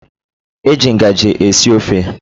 E ji ngaji esi ofe